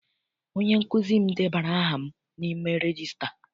Onye nkụzi m debara aha m n'ime regista.